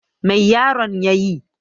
Mai yaron ya yi?